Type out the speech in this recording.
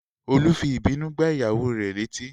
Olú fi ìbínú gbá ìyàwó rè létí